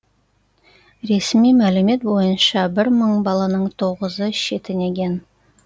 ресми мәлімет бойынша бір мың баланың тоғызы шетінеген